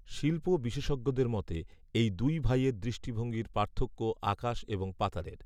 শিল্প বিশেষজ্ঞদের মতে এই দুই ভাইয়ের দৃষ্টিভঙ্গির পার্থক্য আকাশএবং পাতালের